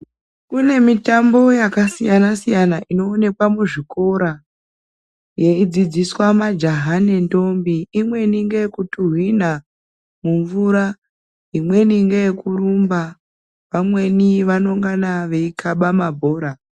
Kune mitambo yaka siyana siyana ino onekwa mu zvikora yei dzidziswa majaha ne ndombi imweni ngeye kutuhwina mu mvura imweni ngeye kurumba vamweni vano ngana vei kaba mabhora.